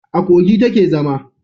A Kogi ta ke zama